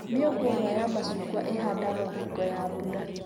Mĩũngũrwa ya macungwa ĩhandagwo hingo ya mbura